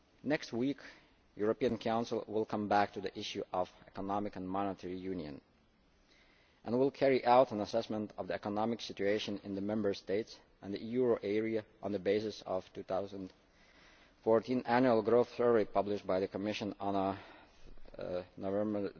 Next week the European Council will come back to the issue of economic and monetary union and will carry out an assessment of the economic situation in the Member States and the euro area on the basis of the 2014 Annual Growth Survey published by the Commission on 13 November